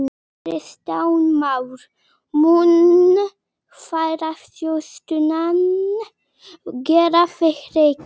Kristján Már: Mun ferðaþjónustan gera þig ríkan?